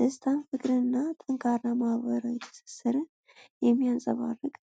ደስታን፣ ፍቅርንና ጠንካራ ማኅበራዊ ትስስርን የሚያንጸባርቅ ነው።